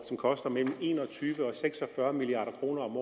som koster mellem en og tyve og seks og fyrre milliard kroner om